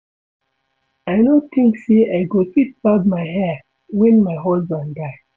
I no think say I go fit barb my hair wen my husband die